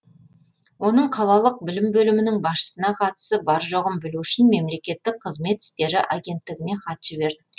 оның қалалық білім бөлімінің басшысына қатысы бар жоғын білу үшін мемлекеттік қызмет істері агенттігіне хат жібердік